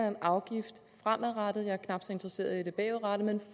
en afgift fremadrettet jeg er knap så interesseret i det bagudrettede